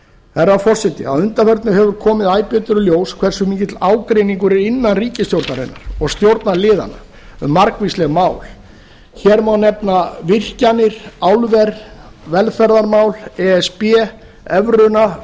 herra forseti að undanförnu hefur komið æ betur í ljós hversu mikill ágreiningur er innan ríkisstjórnarinnar og stjórnarliðanna um margvísleg mál hér má nefna virkjanir álver velferðarmál e s b evruna